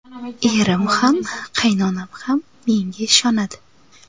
Erim ham, qaynonam ham menga ishonmadi.